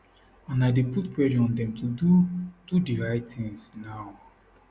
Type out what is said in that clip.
and i dey put pressure on dem to do do di right tins now